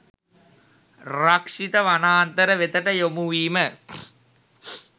රක්ෂිත වනාන්තර වෙතට යොමු වීම